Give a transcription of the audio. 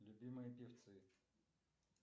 любимые певцы